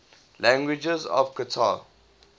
languages of qatar